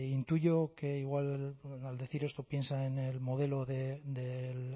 intuyo que igual al decir esto piensa en el modelo del